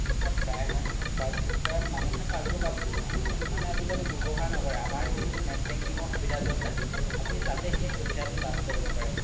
প্ৰাই সংখ্যক passbook এ মানুহে passbook মানে আজিকালি ৱ্যাবহাৰ নকৰে আমাৰ যিহেতু net banking ৰ সুবিধাতো আছে আপোনি তাতে সেই সুবিধাতো লাভ কৰিব পাৰে